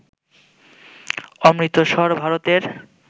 অমৃতসর, ভারতের